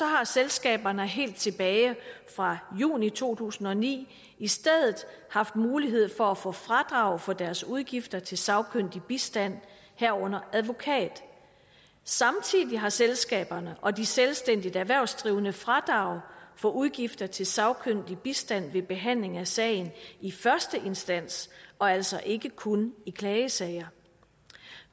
har selskaberne helt tilbage fra juni to tusind og ni i stedet haft mulighed for at få fradrag for deres udgifter til sagkyndig bistand herunder advokatbistand samtidig har selskaberne og de selvstændigt erhvervsdrivende fradrag for udgifter til sagkyndig bistand ved behandling af sagen i første instans og altså ikke kun i klagesager